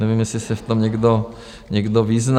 Nevím, jestli se v tom někdo vyzná.